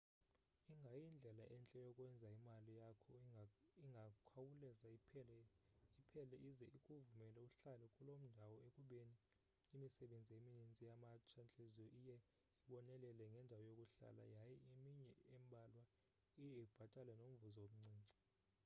ingayindlela entle yokwenza imali yakho ingakhawulezi iphele ize ikuvumele uhlale kuloo ndawo ekubeni imisebenzi emininzi yamatsha-ntliziyo iye ibonelele ngendawo yokuhlala yaye eminye embalwa iye ibhatale nomvuzo omncinci